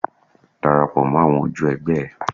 Darapọ̀ mọ́ àwọn ojú ẹ̀gbẹ́ ẹ.